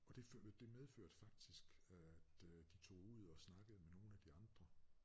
Og det medførte faktisk øh at øh de tog ud og snakkede med nogle af de andre